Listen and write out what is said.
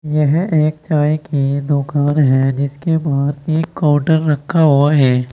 यह एक चाय की दुकान है जिसके बाहर एक काउंटर रखा हुआ है।